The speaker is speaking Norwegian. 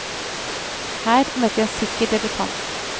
Her møtte vi en sikker debutant.